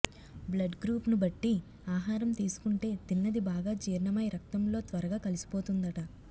బ్లడ్గ్రూప్ను బట్టి ఆహారం తీసుకుంటే తిన్నది బాగా జీర్ణమై రక్తంలో త్వరగా కలిసిపోతుందట